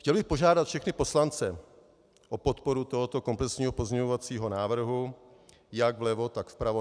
Chtěl bych požádat všechny poslance o podporu tohoto komplexního pozměňovacího návrhu jak vlevo, tak vpravo.